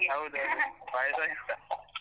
ಹೌದೌದು ಪಾಯ್ಸ ಇಷ್ಟ.